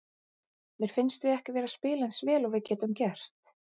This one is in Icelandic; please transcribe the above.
Mér finnst við ekki vera að spila eins vel og við getum gert.